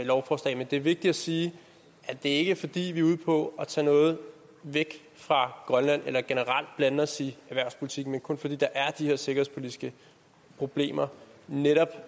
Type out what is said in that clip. lovforslag men det er vigtigt at sige at det ikke er fordi vi er ude på at tage noget væk fra grønland eller generelt blande os i erhvervspolitikken men kun fordi der er de her sikkerhedspolitiske problemer netop